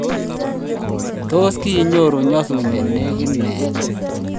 tos kinyoru nyasut ne negit meet